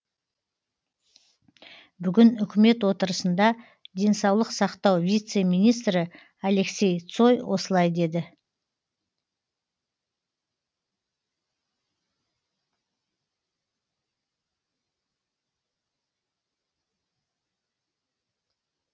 бүгін үкімет отырысында денсаулық сақтау вице министрі алексей цой осылай деді